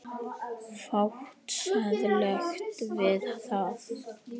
Fátt siðlegt við það?